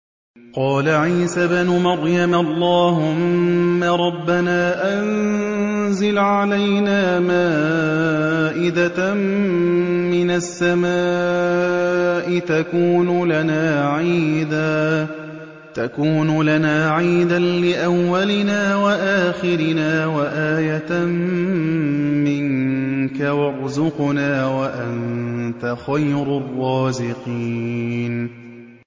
قَالَ عِيسَى ابْنُ مَرْيَمَ اللَّهُمَّ رَبَّنَا أَنزِلْ عَلَيْنَا مَائِدَةً مِّنَ السَّمَاءِ تَكُونُ لَنَا عِيدًا لِّأَوَّلِنَا وَآخِرِنَا وَآيَةً مِّنكَ ۖ وَارْزُقْنَا وَأَنتَ خَيْرُ الرَّازِقِينَ